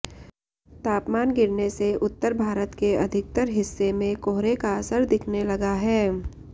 तापमान गिरने से उत्तर भारत के अधिकतर हिस्से में कोहरे का असर दिखने लगा है